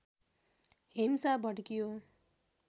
हिंसा भड्कियो